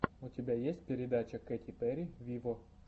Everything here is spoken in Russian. у тебя есть передача кэти перри виво